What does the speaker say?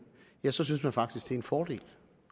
ja så synes man faktisk det er en fordel